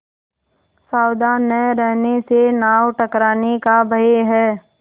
सावधान न रहने से नाव टकराने का भय है